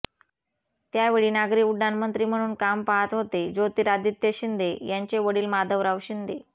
त्यावेळी नागरी उड्डाण मंत्री म्हणून काम पाहत होते ज्योतिरादित्य शिंदे यांचे वडील माधवराव शिंदे